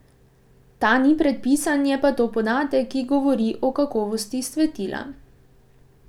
Ta ni predpisan, je pa to podatek, ki govori o kakovosti svetila.